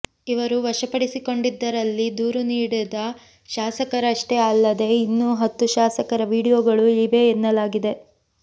ಇವರು ವಶಪಡಿಸಿಕೊಂಡದ್ದರಲ್ಲಿ ದೂರು ನೀಡಿದ ಶಾಸಕರಷ್ಟೇ ಅಲ್ಲದೇ ಇನ್ನೂ ಹತ್ತು ಶಾಸಕರ ವಿಡಿಯೋಗಳು ಇವೆ ಎನ್ನಲಾಗಿದೆ